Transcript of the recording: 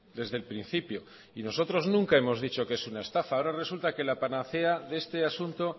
desde el principio y nosotros nunca hemos dicho que es una estafa ahora resulta que la panacea de este asunto